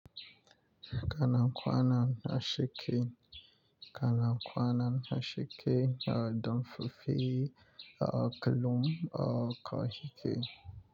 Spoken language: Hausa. Kana kwana na sheke, kana kwana na sheke, ya damfafi, ya kalum, ya kahike?